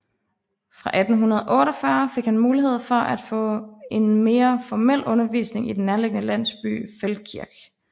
Fra 1848 fik han mulighed for at få en mere formel undervisning i den nærliggende landsby Feldkirch